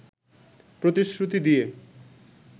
প্রতিশ্রুতি দিয়ে